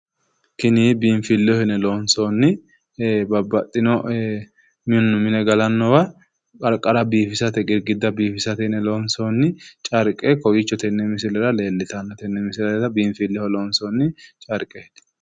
Tini biinfilleho yine loonsoonni babbaxxino mannu mine galannowa qarqara biifisate girgidda biifisate yine loonsoonni carqqe kowiicho tenne misilera leellitanno. Tenne misilera biinfilleho loonsoonni carqqeeti.